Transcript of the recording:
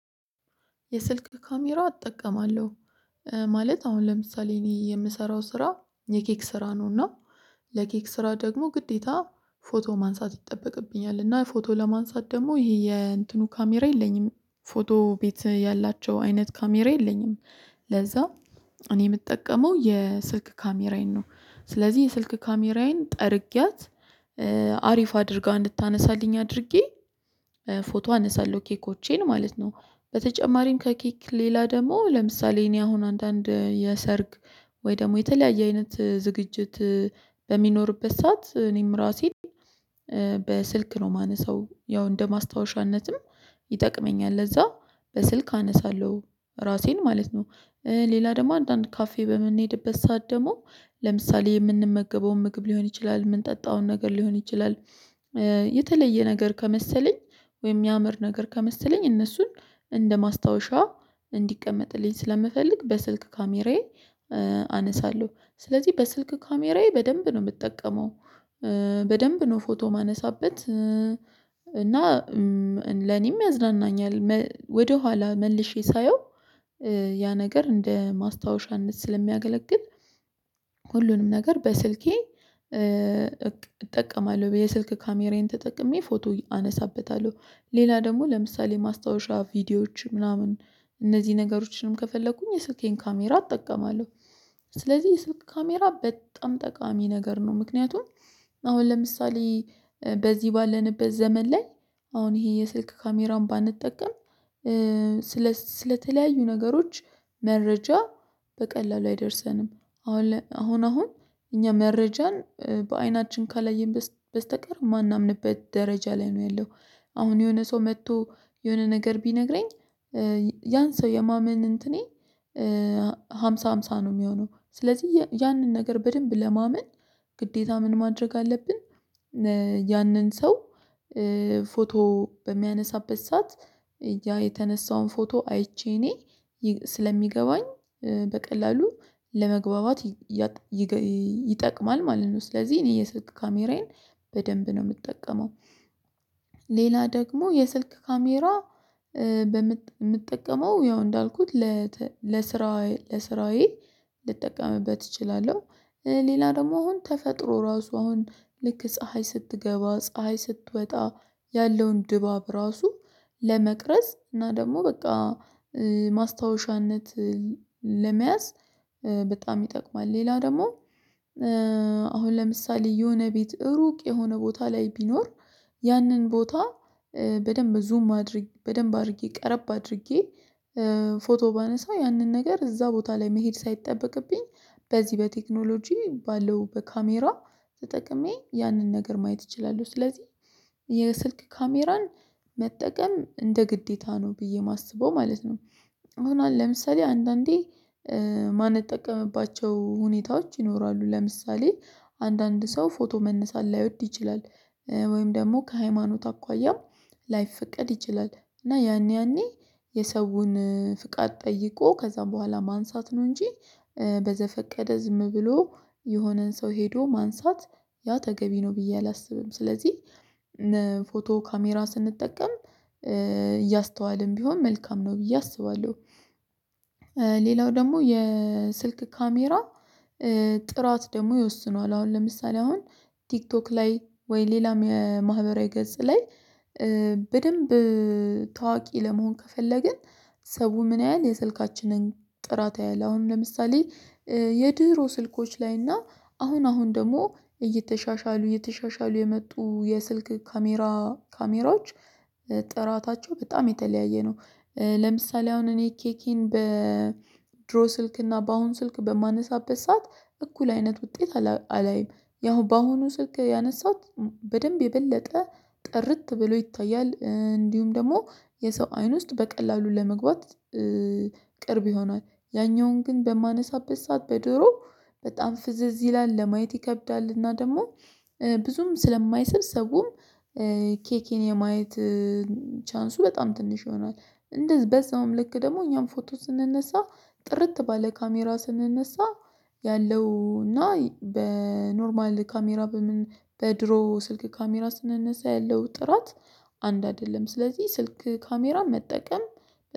የስልክ ካሜራ እጠቀማለሁ። ማለት አሁን ለምሳሌ እኔ የምሰራው ስራ የኬክ ስራ ነውና ለኬክ ስራ ደግሞ ግዴታ ፎቶ ማንሳት ይጠበቅብኛል። እና ፎቶ ለማንሳት ደግሞ ይሄ የእንትኑ ካሜራ የለኝም። ፎቶ ቤት ያላቸው አይነት ካሜራ የለኝም። ለዛ እኔ የምጠቀመው የስልክ ካሜራዬን ነው። ስለዚህ የስልክ ካሜራዬን ጠርጌያት አሪፍ አድርጋ እንድታነሳልኝ አድርጌ ፎቶ አነሳለሁ ኬኮቼን ማለት ነው። በተጨማሪም ከኬክ ሌላ ደግሞ ለምሳሌ እኔ አሁን አንዳንድ የሰርግ ወይ ደግሞ የተለያየ አይነት ዝግጅት በሚኖርበት ሰዓት እኔም ራሴን በስልክ ነው የማነሳው። ያው እንደ ማስታወሻነትም ይጠቅመኛል። ለዛ በስልክ አነሳለሁ ራሴን ማለት ነው። ሌላ ደግሞ አንዳንድ ካፌ በምንሄድበት ሰዓት ደግሞ ለምሳሌ የምንመገበውን ምግብ ሊሆን ይችላል የምንጠጣውን ነገር ሊሆን ይችላል የተለየ ነገር ከመሰለኝ ወይም ያምር ነገር ከመሰለኝ እነሱን እንደ ማስታወሻ እንዲቀመጥልኝ ስለምፈልግ በስልክ ካሜራዬ አነሳለሁ። ስለዚህ በስልክ ካሜራዬ በደንብ ነው የምጠቀመው። በደንብ ነው ፎቶ የማነሳበት። እና ለኔም ያዝናናኛል። ወደኋላ መልሼ ሳየው ያ ነገር እንደ ማስታወሻነት ስለሚያገለግል ሁሉንም ነገር በስልኬ እጠቀማለሁ። የስልክ ካሜራዬን ተጠቅሜ ፎቶ አነሳበታለሁ። ሌላ ደግሞ ለምሳሌ ማስታወሻ ቪዲዮዎች ምናምን እነዚህ ነገሮችንም ከፈለኩኝ የስልኬን ካሜራ እጠቀማለሁ። ስለዚህ የስልክ ካሜራ በጣም ጠቃሚ ነገር ነው። ምክንያቱም አሁን ለምሳሌ በዚህ ባለንበት ዘመን ላይ አሁን ይሄ የስልክ ካሜራውን ባንጠቀም ስለስለተለያዩ ነገሮች መረጃ በቀላሉ አይደርሰንም። አሁን አሁን እኛ መረጃን በአይናችን ከላየን በስተቀር የማናምንበት ደረጃ ላይ ነው ያለው። አሁን የሆነ ሰው መጥቶ የሆነ ነገር ቢነግረኝ ያን ሰው የማመን እንትኔ ሃምሳ ሃምሳ ነው የሚሆነው። ስለዚህ ያንን ነገር በደንብ ለማመን ግዴታ ምን ማድረግ አለብን? ያንን ሰው ፎቶ በሚያነሳበት ሰዓት ያ የተነሳውን ፎቶ አይቼ እኔ ስለሚገባኝ በቀላሉ ለመግባባት ይጠቅማል ማለት ነው። ስለዚህ እኔ እየሰጥኩ ካሜራዬን በደንብ ነው የምትጠቀመው። ሌላ ደግሞ የስልክ ካሜራ የምትጠቀመው ያው እንዳልኩት ለስራዬ ልጠቀምበት እችላለሁ። ሌላ ደግሞ አሁን ተፈጥሮ ራሱ አሁን ልክ ፀሀይ ስትገባ፣ ፀሀይ ስትወጣ ያለውን ድባብ ራሱ ለመቅረጽ እና ደግሞ በቃ ማስታወሻነት ለመያዝ በጣም ይጠቅማል። ሌላ ደግሞ አሁን ለምሳሌ የሆነ ቤት ሩቅ የሆነ ቦታ ላይ ቢኖር ያንን ቦታ በደንብ ዙም አድርጌ በደንብ አድርጌ ቀረብ አድርጌ ፎቶ ባነሳ ያንን ነገር እዛ ቦታ ላይ መሄድ ሳይጠበቅብኝ በዚህ በቴክኖሎጂ ባለው በካሜራ ተጠቅሜ ያንን ነገር ማየት እችላለሁ። ስለዚህ የስልክ ካሜራን መጠቀም እንደ ግዴታ ነው ብዬ የማስበው ማለት ነው። አሁን ለምሳሌ አንዳንዴ ማንጠቀምባቸው ሁኔታዎች ይኖራሉ። ለምሳሌ አንዳንድ ሰው ፎቶ መነሳት ላይወድ ይችላል። ወይም ደግሞ ከሃይማኖት አኳያም ላይፈቀድ ይችላል። እና ያኔ ያኔ የሰውን ፍቃድ ጠይቆ ከዛም በኋላ ማንሳት ነው እንጂ በዘፈቀደ ዝም ብሎ የሆነን ሰው ሄዶ ማንሳት ያ ተገቢ ነው ብዬ አላስብም። ስለዚህ ፎቶ ካሜራ ስንጠቀም እያስተዋልን ቢሆን መልካም ነው ብዬ አስባለሁ። ሌላው ደግሞ የስልክ ካሜራ ጥራት ደግሞ ይወስነዋል። አሁን ለምሳሌ አሁን ቲክቶክ ላይ ወይ ሌላም የማህበራዊ ገጽ ላይ በደንብ ታዋቂ ለመሆን ከፈለግን ሰው ምን ያህል የስልካችንን ጥራት ያያል? አሁን ለምሳሌ የድሮ ስልኮች ላይና አሁን አሁን ደግሞ እየተሻሻሉ እየተሻሻሉ የመጡ የስልክ ካሜራዎች ጥራታቸው በጣም የተለያየ ነው። ለምሳሌ አሁን እኔ ኬኬን በድሮ ስልክ እና በአሁን ስልክ በማነሳበት ሰዓት እኩል አይነት ውጤት አላይም። ያው በአሁኑ ስልክ ያነሳሁት በደንብ የበለጠ ጥርት ብሎ ይታያል። እንዲሁም ደግሞ የሰው አይን ውስጥ በቀላሉ ለመግባት ቅርብ ይሆናል። ያኛውን ግን በማነሳበት ሰዓት በድሮው በጣም ፍዝዝ ይላል። ለማየት ይከብዳል። እና ደግሞ ብዙም ስለማይሰብ ሰውም ኬኬን የማየት ቻንሱ በጣም ትንሽ ይሆናል። በዛውም ልክ ደግሞ እኛም ፎቶ ስንነሳ ጥርት ባለ ካሜራ ስንነሳ ያለው እና በኖርማል ካሜራ በድሮ ስልክ ካሜራ ስንነሳ ያለው ጥራት አንድ አይደለም። ስለዚህ ስልክ ካሜራ መጠቀም